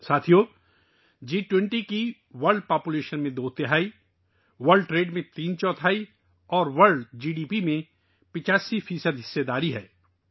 دوستو، جی 20 کی شراکت داری دنیا کی دو تہائی آبادی، عالمی تجارت کا تین چوتھائی حصہ اور عالمی جی ڈی پی کا 85 فی صد حصہ پر مشتمل ہے